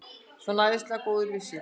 Svona æðislega góður með sig!